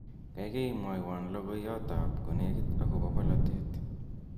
gaigai mwowon logoiyot ab konegit agobo bolotet